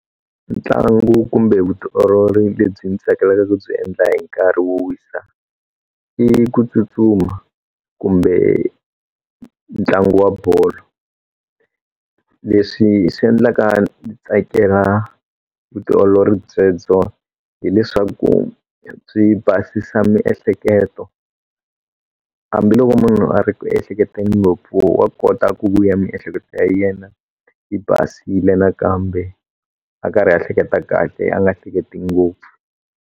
Ntlangu kumbe vutiolori lebyi mi tsakelaka ku byi endla hi nkarhi wo wisa i ku tsutsuma kumbe ntlangu wa bolo leswi swi endlaka tsakela vutiolori byebyo hileswaku swi basisa miehleketo hambiloko munhu a ri ku hleketeni ngopfu wa kota ku vuya miehleketo ya yena yi basile nakambe a karhi ya hleketa kahle a nga hleketi ngopfu.